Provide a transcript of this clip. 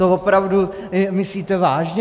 To opravdu myslíte vážně?